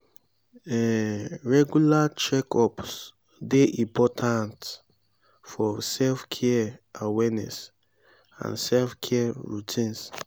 um regular check-ups dey important for self-care awareness and self-care routines.